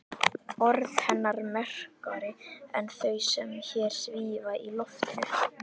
Orð hennar merkari en þau sem hér svífa í loftinu.